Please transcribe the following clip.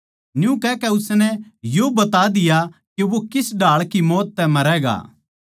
न्यू कहकै उसनै यो बता दिया के वो किस ढाळ की मौत तै मरैगा